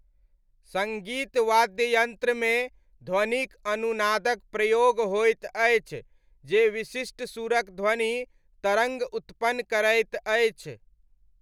सङ्गीत वाद्ययन्त्रमे ध्वनिक अनुनादक प्रयोग होइत अछि जे विशिष्ट सुरक ध्वनि तरङ्ग उत्पन्न करैत अछि।